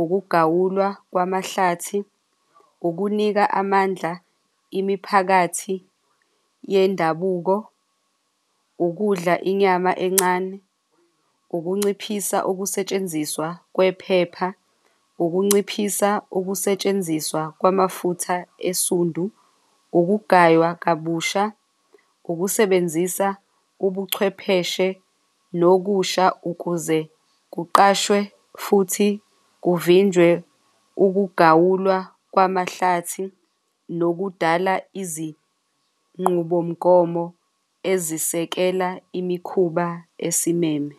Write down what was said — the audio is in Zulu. ukugawulwa kwamahlathi, ukunika amandla imiphakathi yendabuko, ukudla inyama encane, ukunciphisa ukusetshenziswa kwephepha, ukunciphisa ukusetshenziswa kwamafutha esiphundu, ukugaywa kabusha, ukusebenzisa ubuchwepheshe nokusha ukuze kuqashwe futhi kuvinjwe ukugawulwa kwamahlathi nokudala izinqubomgomo ezisekela imikhuba ezisimeme.